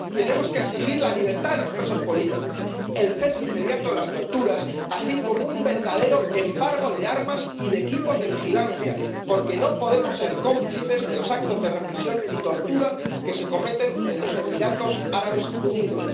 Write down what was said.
Tenemos que exigir la libertad de los presos políticos, el cese inmediato de las torturas, así como un verdadero embargo de armas y de equipos de vigilancia, porque no podemos ser cómplices de los actos de represión y tortura que se cometen en los Emiratos Árabes Unidos.